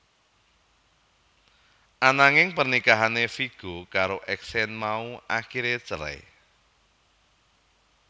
Ananging pernikahané Viggo karo Exene mau akiré cerai